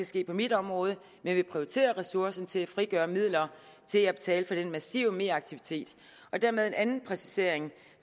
ske på mit område men vi prioriterer ressourcerne til at frigøre midler til at betale for den massive meraktivitet dermed en anden præcisering